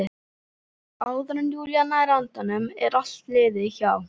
Og áður en Júlía nær andanum er allt liðið hjá.